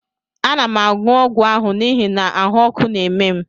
Ana m aṅụ ọgwụ ahụ n'ihi na ahụ́ ọkụ na-eme m